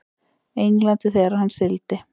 Englandi þegar hann sigldi.